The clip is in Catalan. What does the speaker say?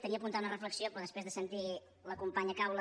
tenia apuntada una reflexió però després de sentir la companya caula